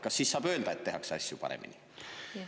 Kas siis saab öelda, et tehakse asju paremini?